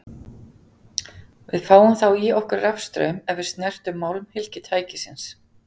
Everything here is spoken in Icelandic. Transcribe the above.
Við fáum þá í okkur rafstraum ef við snertum málmhylki tækisins.